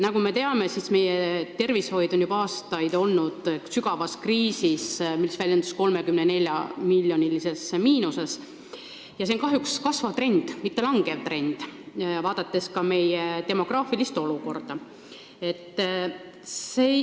Nagu me teame, meie tervishoid on juba aastaid olnud sügavas kriisis, mis väljendub eelarve 34-miljonilises miinuses, ja see on kahjuks kasvav, mitte kahanev trend, mis tuleneb ka meie demograafilisest olukorrast.